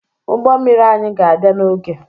Ụgbọ mmiri anyị ga-abịa n'oge